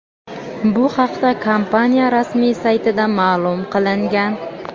Bu haqda kompaniya rasmiy saytida ma’lum qilingan.